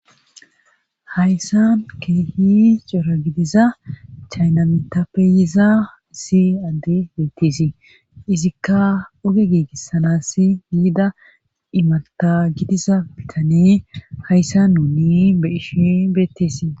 hayssa keehi cora gidiza chaynamitapeyiza issi adde beettiesii izikka oge giigissanassi yiida imata gidiza bitane hayssa nuuni beishi beetteesii